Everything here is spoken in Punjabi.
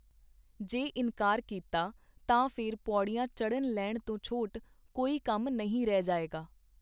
ਜੇ ਇਨਕਾਰ ਕੀਤਾ, ਤਾਂ ਫੇਰ ਪੌੜੀਆਂ ਚੜ੍ਹਨ-ਲਹਿਣ ਤੋਂ ਛੋਟ ਕੋਈ ਕੰਮ ਨਹੀਂ ਰਹਿ ਜਾਏਗਾ.